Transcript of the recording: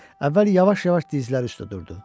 Əvvəl yavaş-yavaş dizləri üstə durdu.